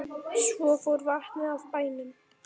Svo fór vatnið af bænum.